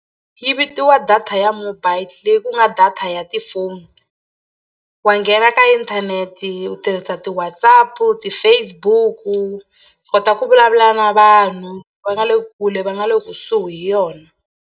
Yi vitiwa data ya mobile leyi ku nga data ya tifoni wa nghena ka inthanete u tirhisa ti-Whatsapp ti-Facebook u kota ku vulavula na vanhu va nga le kule va nga le kusuhi hi yona.